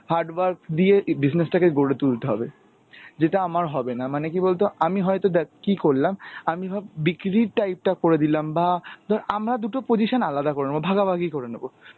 hard work দিয়ে business টাকে গড়ে তুলতে হবে. যেটা আমার হবে না. মানে কী বলতো আমি হয়তো দেখ কী করলাম, আমি ভাব বিক্রির type টা করে দিলাম বা ধর আমরা দুটো position আলাদা করে নেব, ভাগাভাগী করে নেব.